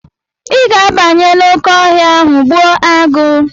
Ị ga-abanye n'oké ọhịa ahụ gbuo agụ̀!